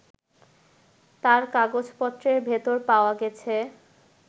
তাঁর কাগজপত্রের ভেতর পাওয়া গেছে